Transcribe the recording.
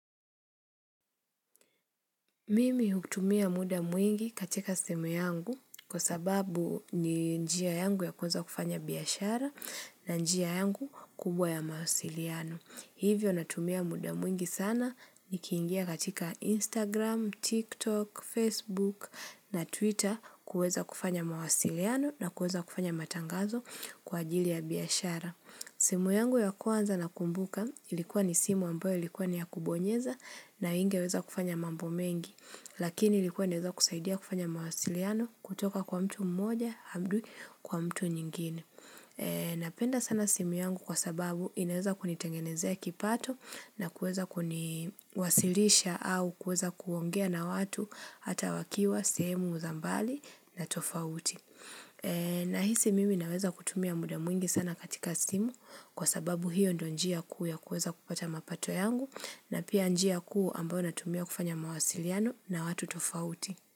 Mimi hutumia muda mwingi katika simu yangu kwa sababu ni njia yangu ya kuweza kufanya biashara na njia yangu kubwa ya mawasiliano. Hivyo natumia muda mwingi sana ni kiingia katika Instagram, TikTok, Facebook na Twitter kuweza kufanya mawasiliano na kuweza kufanya matangazo kwa ajili ya biashara. Simu yangu ya kuwanza na kumbuka ilikuwa ni simu ambayo ilikuwa ni ya kubonyeza na inge weza kufanya mambo mengi Lakini ilikuwa neweza kusaidia kufanya mawasiliano kutoka kwa mtu mmoja hadi kwa mtu nyingine Napenda sana simu yangu kwa sababu inaweza kunitengenezia kipato na kuweza kuniwasilisha au kuweza kuongea na watu hata wakiwa, sehemu, za mbali na tofauti Nahisi mimi naweza kutumia muda mwingi sana katika simu kwa sababu hiyo ndo njia kuu ya kuweza kupata mapato yangu na pia njia kuu ambao natumia kufanya mawasiliano na watu tofauti.